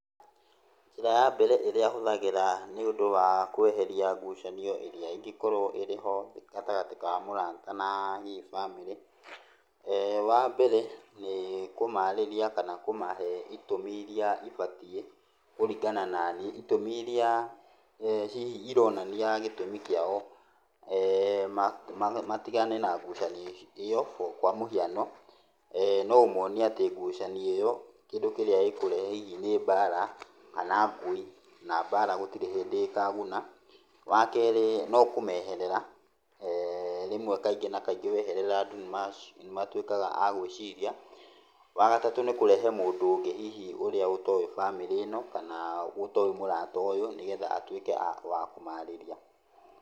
Njĩra ya mbere ĩrĩa hũthagĩra nĩũndũ wa kweheria ngucanio ĩrĩa ingĩkorwo-ho gatagatĩ ka mũrata na hihi bamĩrĩ, wambere nĩ kũmarĩria kama kũmahe itũmi iria ibatiĩ kũringana naniĩ. Itũmi iria hihi ironania gĩtũmi kĩao, eh, matigane na ngucanio ĩyo. Kwa mũhiano, no ũmonie ngucanio ĩyo kĩndũ kĩrĩa ĩkũrehe hihi nĩ mbara, kana ngũĩ, na mbara gũtirĩ hĩndĩ ĩkaguna. Wa keri no kũmeherera. Rĩmwe kaingĩ na kaingĩ andũ wameherera nĩ matuĩkaga a gũĩciria. Wa gatatũ nĩ kũrehe mũndũ ũngĩ ũrĩa ũtoĩ bamĩrĩ ĩno kana ũtoĩ mũrata ũyũ, nĩgetha atuĩke wa kũmarĩria.